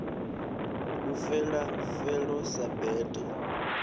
u fela felo sa bete